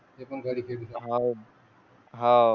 ते पण घरी खेळू